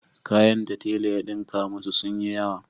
Kayan da tela ya ɗinka masu sun yi yawa.